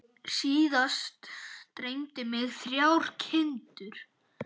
Síðast dreymdi mig þrjár kindur.